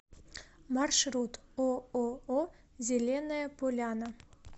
маршрут ооо зеленая поляна